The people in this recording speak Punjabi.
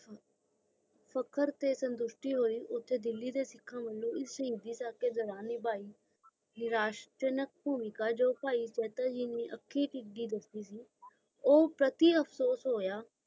ਫ਼ਖ਼ਰ ਤੇ ਸੰਗੁਸ਼ਟੀ ਹੁਈ ਉਥੇ ਸਿੱਖਾਂ ਵਲੋਂ ਇਸ ਸ਼ਹੀਦ ਦੀ ਨਰੇਸ਼ ਜਨਕ ਭੂਮਿਕਾ ਭਾਈ ਜਾਤਾ ਜੀ ਨੇ ਆਖਿ ਤਹਿਗੀ ਦੱਸੀ ਸੀ ਉਹ ਕਥੇ ਅਫਸੋਸ ਹੋਇਆ